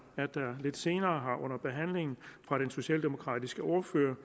at der lidt senere her under behandlingen fra den socialdemokratiske ordfører